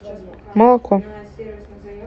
молоко